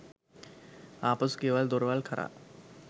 ආපසු ගෙවල් දොරවල් කරා